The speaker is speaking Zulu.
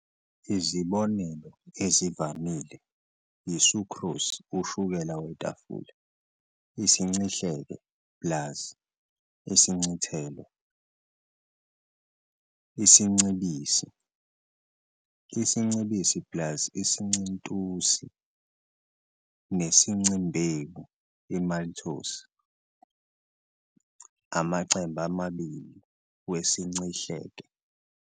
Izibonelo ezivamile yi-sucrose, ushukela wetafula, isincihleke plus isincithelo, isincibisi, isincibisi plus isincintusi, nesincimbewu, "maltose", amachembe amabili wesincihleke.